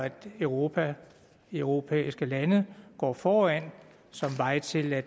europa europæiske lande og foran som vej til at